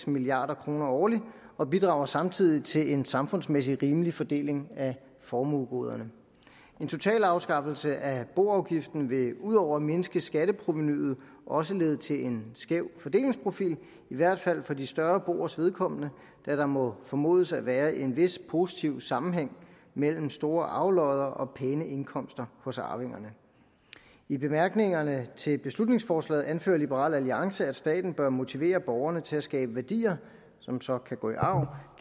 milliard kroner årligt og bidrager samtidig til en samfundsmæssigt rimelig fordeling af formuegoderne en totalafskaffelse af boafgiften vil udover at mindske skatteprovenuet også lede til en skæv fordelingsprofil i hvert fald for de større boers vedkommende da der må formodes at være en vis positiv sammenhæng mellem store arvelodder og pæne indkomster hos arvingerne i bemærkningerne til beslutningsforslaget anfører liberal alliance at staten bør motivere borgerne til at skabe værdier som så kan gå i arv